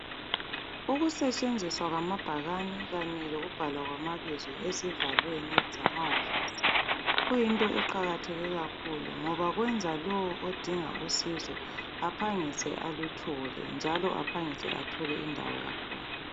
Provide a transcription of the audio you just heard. Ukusetshenziswa kwamabhakane kanye lokubhalwa kwamabizo ezivalweni zamawofisi kuyinto eqakatheke kakhulu ngoba kwenza lowo odinga usizo aphangise aluthole njalo aphangise athole indawo yakhona.